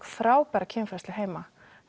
frábæra kynfræðslu heima